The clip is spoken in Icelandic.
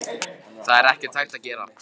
Það var ekkert hægt að gera.